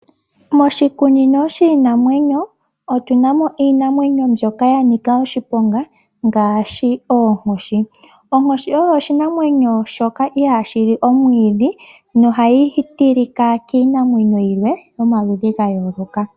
Moshikunino shiinanwenyo otunamo iinamwenyo mbyoka yanika oshiponga ngaashi ooonkoshi. Onkoshi oyo oshinamwenyo shoka iha shili omwiidhi nohayi tilika iinamwenyo yilwe yomaludhi ga yooloka.